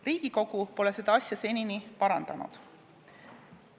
Riigikogu pole seda asja senini parandanud.